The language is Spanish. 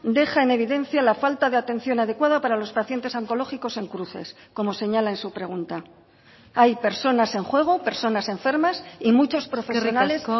deja en evidencia la falta de atención adecuada para los pacientes oncológicos en cruces como señala en su pregunta hay personas en juego personas enfermas y muchos profesionales